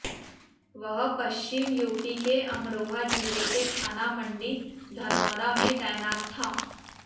वह पश्चिम यूपी के अमरोहा जिले के थाना मंडी धनौरा में तैनात था